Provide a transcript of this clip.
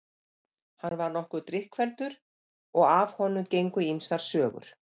Hann var nokkuð drykkfelldur og af honum gengu ýmsar sögur.